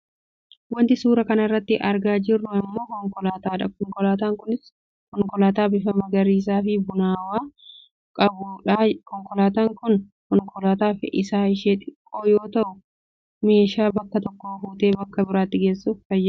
Wanti suuraa kanarratti argaa jirru ammoo konkolaataa dha. Konkolaataan kunis konkolaataa bifa magariisaafi bunnaawwaa qabuu dha. Konkolaataan kun konkolaataa fe'isaa ishee xiqqoo yoo taatu meeshaa bakka tokkoo fuute bakka biraatti geessuuf nu tajaajila.